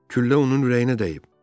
Küllə onun ürəyinə dəyib.